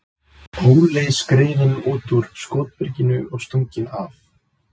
Óli skriðinn út úr skotbyrginu og stunginn af.